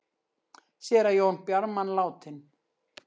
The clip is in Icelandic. Séra Jón Bjarman látinn